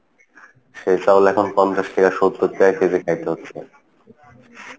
সেই চাউল এখন পঞ্চাশ টাকা সত্তর টাকা কেজি খাইতে হচ্ছে।